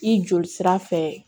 I joli sira fɛ